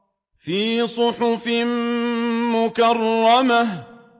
فِي صُحُفٍ مُّكَرَّمَةٍ